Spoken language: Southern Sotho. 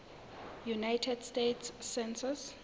united states census